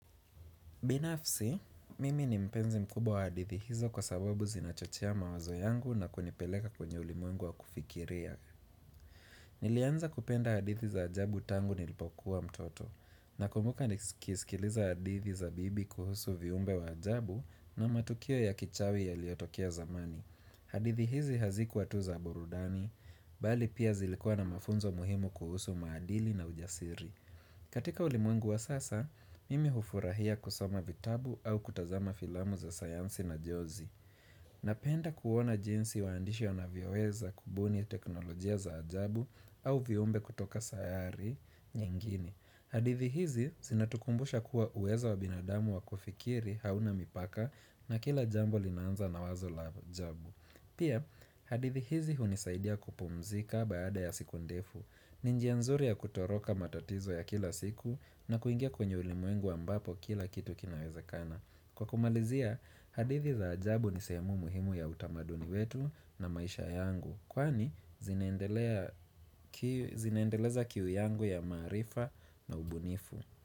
Binafsi, mimi ni mpenzi mkubwa wa hadithi hizo kwa sababu zinachochea mawazo yangu na kunipeleka kwenye ulimwengu wa kufikiria. Nilianza kupenda hadithi za ajabu tangu nilipokuwa mtoto. Na kumbuka nikisikiliza hadithi za bibi kuhusu viumbe wa ajabu na matukio ya kichawi ya liotokia zamani. Hadithi hizi hazikuwa tuza burudani, bali pia zilikua na mafunzo muhimu kuhusu maadili na ujasiri. Katika ulimwengu wa sasa, mimi hufurahia kusoma vitabu au kutazama filamu za sayansi na jozi. Napenda kuona jinsi waandishi wanavyoweza kubuni teknolojia za ajabu au viumbe kutoka sayari nyengine. Hadithi hizi hazikuwa tuza aburudani, bali pia zilikua na mafunzo muhimu kuhusu maadili na ujasiri. Pia, hadithi hizi hunisaidia kupumzika baada ya siku ndefu. Ni njia nzuri ya kutoroka matatizo ya kila siku na kuingia kwenye ulimwengu ambapo kila kitu kinawezekana. Kwa kumalizia, hadithi za ajabu ni sehemu muhimu ya utamaduni wetu na maisha yangu. Kwani, zinaendeleza kiu yangu ya maarifa na ubunifu.